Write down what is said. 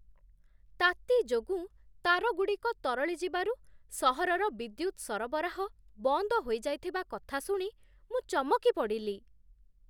ତାତି ଯୋଗୁଁ ତାରଗୁଡ଼ିକ ତରଳି ଯିବାରୁ ସହରର ବିଦ୍ୟୁତ ସରବରାହ ବନ୍ଦ ହୋଇଯାଇଥିବା କଥା ଶୁଣି ମୁଁ ଚମକି ପଡ଼ିଲି!